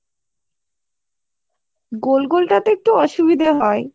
গোল গোল টাতে একটু অসুবিধে হয়